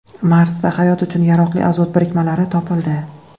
Marsda hayot uchun yaroqli azot birikmalari topildi.